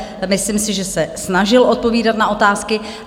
Myslím si, že se snažil odpovídat na otázky.